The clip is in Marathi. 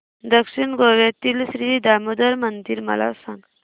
दक्षिण गोव्यातील श्री दामोदर मंदिर मला सांग